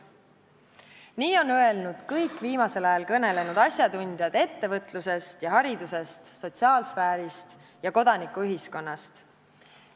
Seda on öelnud kõik viimasel ajal kõnelenud asjatundjad ettevõtluse, hariduse ja sotsiaalvaldkonnast, samuti kodanikuühiskonna esindajad.